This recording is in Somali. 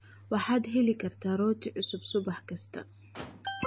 Waxaad heli kartaa rooti cusub subax kasta.